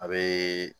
A bɛ